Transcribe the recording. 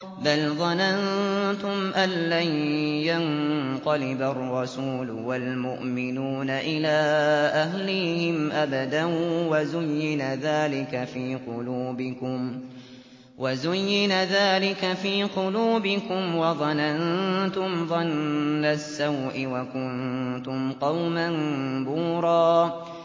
بَلْ ظَنَنتُمْ أَن لَّن يَنقَلِبَ الرَّسُولُ وَالْمُؤْمِنُونَ إِلَىٰ أَهْلِيهِمْ أَبَدًا وَزُيِّنَ ذَٰلِكَ فِي قُلُوبِكُمْ وَظَنَنتُمْ ظَنَّ السَّوْءِ وَكُنتُمْ قَوْمًا بُورًا